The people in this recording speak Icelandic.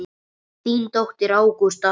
Þín dóttir, Ágústa.